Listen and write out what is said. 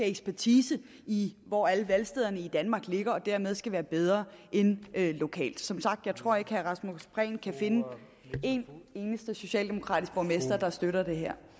ekspertise i hvor alle valgstederne i danmark ligger og dermed skal være bedre end er lokalt som sagt tror at herre rasmus prehn kan finde en eneste socialdemokratisk borgmester der støtter det her